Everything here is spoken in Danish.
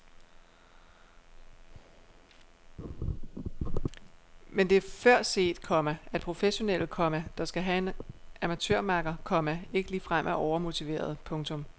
Men det er før set, komma at professionelle, komma der skal have en amatørmakker, komma ikke ligefrem er overmotiverede. punktum